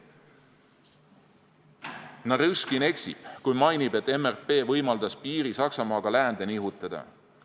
Narõškin eksib, kui mainib, et MRP võimaldas piiri Saksamaaga läände nihutada.